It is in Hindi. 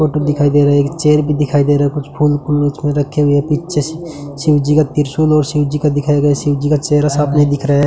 फोटो दिखाई दे रहा है एक चेयर भी दिखाई दे रहा कुछ फूल फूल उसमे रखे हुए हैं पीछे शिव जी का त्रिशूल और शिव जी का दिखाया गया शिव जी का चेहरा साफ नही दिख रहा है।